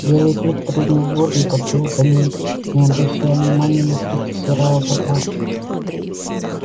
белый клык прыгнул в воду и поплыл за ней не обращая внимания на крики серого бобра